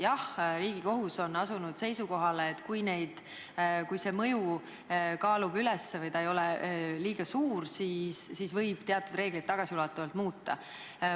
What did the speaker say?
Jah, Riigikohus on asunud seisukohale, et kui eeldatav mõju kaalub negatiivse üles või ei ole liiga suur, siis võib teatud reegleid tagasiulatuvalt muuta.